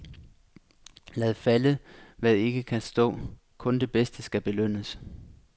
Lad falde hvad ikke kan stå, kun det bedste skal belønnes.